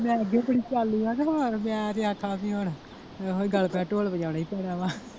ਮੈਂ ਤੇ ਅੱਗੇ ਬੜੀ ਚਾਲੂ ਆ ਤੇ ਹੋਰ ਮੈਂ ਇਹੋ ਗੱਲ ਗੱਲ ਤੇ ਢੋਲ ਵਜਾਉਣੇ .